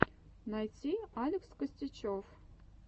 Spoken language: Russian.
найти алекс костячев